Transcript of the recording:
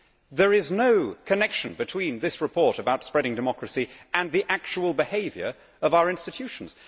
There is no connection between this report about spreading democracy and the actual behaviour of our institutions.